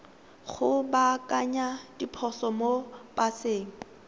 go baakanya diphoso mo paseng